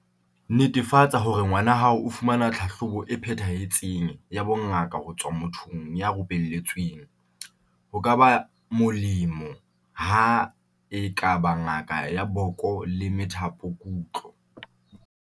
Netefatsa hore ngwana hao o fumana tlhahlobo e phethahetseng ya bongaka ho tswa mothong ya rupelletsweng, ho ka ba mo-lemo ha e ka ba ngaka ya boko le methapokutlo.